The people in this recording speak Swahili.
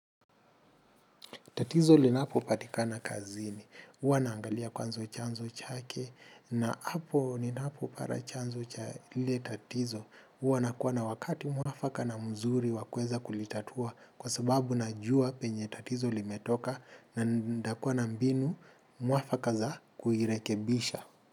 Tatizo linapopatikana kazini, huwa naangalia kwanza chanzo chake na hapo ninapopata chanzo cha ile tatizo, huwa na kuwa na wakati mwafaka na mzuri wakuweza kulitatua kwa sababu najua penye tatizo limetoka na nitakuwa na mbinu mwafaka za kuirekebisha.